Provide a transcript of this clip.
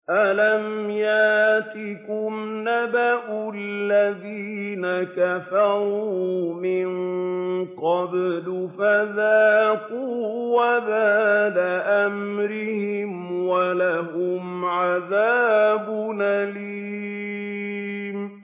أَلَمْ يَأْتِكُمْ نَبَأُ الَّذِينَ كَفَرُوا مِن قَبْلُ فَذَاقُوا وَبَالَ أَمْرِهِمْ وَلَهُمْ عَذَابٌ أَلِيمٌ